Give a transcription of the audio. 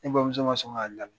Ne bamuso ma sɔn k'a labi.